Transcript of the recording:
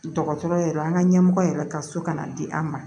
Dɔgɔtɔrɔ yɛrɛ an ka ɲɛmɔgɔ yɛrɛ ka so kana di an ma